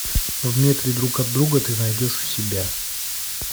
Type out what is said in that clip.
в метре друг от друга ты найдешь у себя